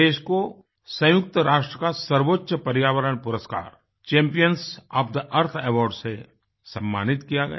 देश को संयुक्त राष्ट्र का सर्वोच्च पर्यावरण पुरस्कार चैम्पियंस ओएफ थे earthअवार्ड्स से सम्मानित किया गया